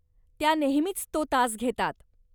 त्या नेहमीच तो तास घेतात.